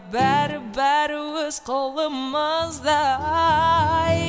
бәрі бәрі өз қолымызда